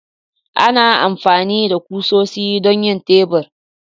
Ana amfani da kusoshi don yin tebur.